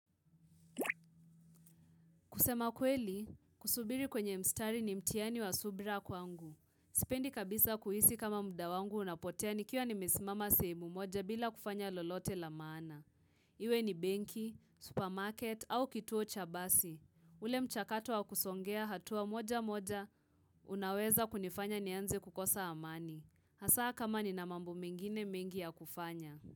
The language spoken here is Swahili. Kusema kweli, kusubiri kwenye mstari ni mthiani wa subira kwangu. Sipendi kabisa kuhisi kama muda wangu unapotea nikiwa nimesimama sehemu moja bila kufanya lolote la maana. Iwe ni benki, supermarket au kituo chabasi. Ule mchakato wa kusongea hatua moja moja, unaweza kunifanya nianze kukosa amani. Hasa kama ni namambo mengine mingi ya kufanya.